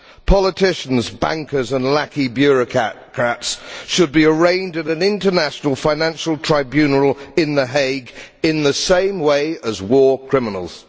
Politicians, bankers and lackey bureaucrats should be arraigned at an international financial tribunal in The Hague in the same way as war criminals.